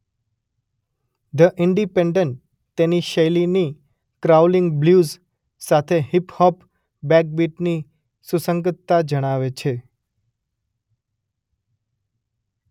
The Independent તેની શૈલીની crawling blues સાથે હીપ હોપ બેકબીટની સુસંગતતા જણાવે છે.